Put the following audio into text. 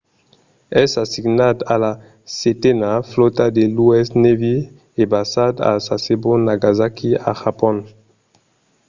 es assignat a la setena flòta de l'u.s. navy e basat a sasebo nagasaki a japon